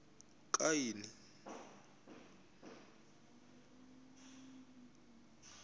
kaini